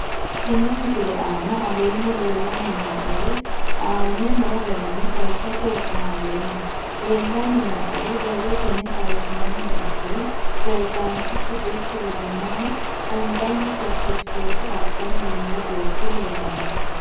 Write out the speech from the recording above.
Tene misile aana leelanni nooerre aane noo garinni xawisate wonaaleemmo. Leelanni nooerre borrotenni xawisummoha ikkiro peresidaanitichu desta ledamohu anganni certificate adhani noo beeti leelanoe.